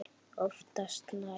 Oftast nær